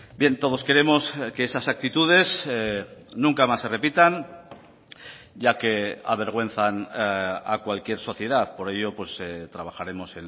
bien todos queremos que esas actitudes nunca más se repitan ya que avergüenzan a cualquier sociedad por ello trabajaremos